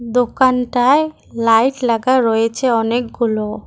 দোকানটায় লাইট লাগা রয়েছে অনেকগুলো।